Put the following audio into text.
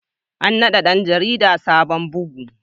An nada ɗan jarida sabon bugun.